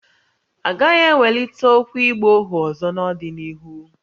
A gaghị ewelite okwu ịgba ohu ọzọ n’ọdịnihu